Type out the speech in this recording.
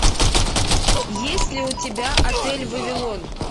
есть ли у тебя отель вавилон